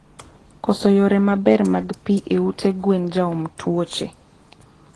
Koso yore maber mag pii e ute gwen jaom tuoche